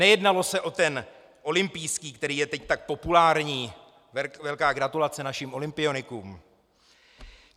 Nejednalo se o ten olympijský, který je teď tak populární - velká gratulace našim olympionikům.